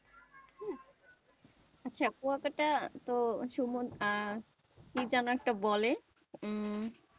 আচ্ছা, কুয়াকাটা তো কি যেন একটা বলে উম